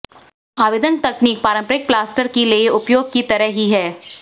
आवेदन तकनीक पारंपरिक प्लास्टर के लिए उपयोग की तरह ही है